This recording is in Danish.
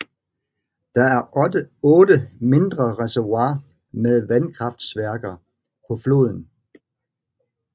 Der er otte mindre reservoirer med vanskraftværker på floden